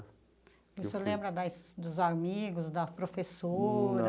E o senhor lembra das dos amigos, da professora?